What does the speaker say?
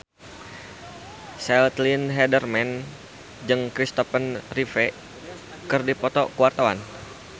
Caitlin Halderman jeung Kristopher Reeve keur dipoto ku wartawan